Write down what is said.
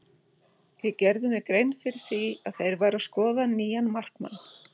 Ég gerði mér grein fyrir því að þeir væru að skoða nýjan markmann.